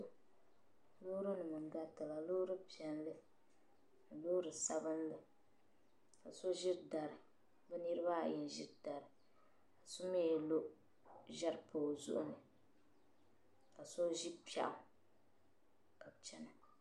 Lɔɔri nim nyarila, lɔɔri piɛli ni lɔɔri sabinli ka so ziri dari bi niribi ayi n ziri dari ka domi lɔ zɛri n pa ɔ zuɣuni ka so zi pɛɣu ka chana.